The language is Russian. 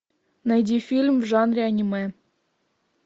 найди фильм в жанре аниме